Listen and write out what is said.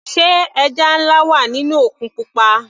Sé ẹja nlá wà nínú òkun pupa.